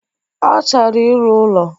Ọ chọrọ ịrụ ụlọ